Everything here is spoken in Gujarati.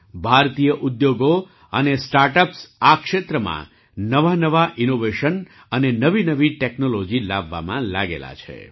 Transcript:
ભારતીય ઉદ્યોગો અને સ્ટાર્ટ અપ્સ આ ક્ષેત્રમાં નવાંનવાં ઇનોવેશન અને નવીનવી ટૅક્નૉલૉજી લાવવામાં લાગેલા છે